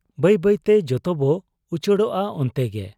ᱵᱟᱹᱭᱵᱟᱹᱭᱛᱮ ᱡᱚᱛᱚᱵᱚ ᱩᱪᱟᱹᱲᱚᱜ ᱟ ᱚᱱᱛᱮ ᱜᱮ ᱾